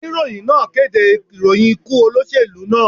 Oníròyìn náà kéde ìròyìn ikú olóṣèlú náà.